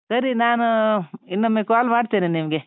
ಸರಿ ನಾನು ಅಹ್ ಇನ್ನೊಮ್ಮೆ call ಮಾಡ್ತೇನೆ ನಿಮ್ಗೆ.